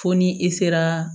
Fo ni e sera